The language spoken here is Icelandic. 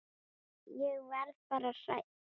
Ég verð bara hrædd.